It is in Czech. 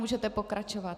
Můžete pokračovat.